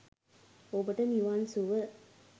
ඔබට නිවන් සුව!